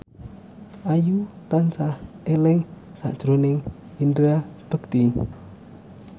Ayu tansah eling sakjroning Indra Bekti